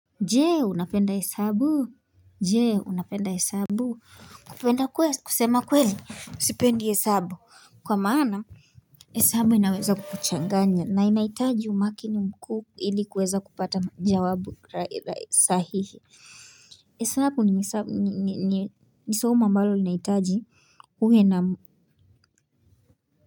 Je unapenda hesabu? Je unapenda hesabu? Kupenda kweli kusema kweli sipendi hesabu kwa maana hesabu inaweza kukuchanganya na inahitaji umakini mkuu ili kuweza kupata jawabu la sahihi hesabu ni soma ambalo linahitaji uwe na.